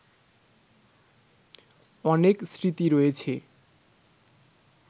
অনেক স্মৃতি রয়েছে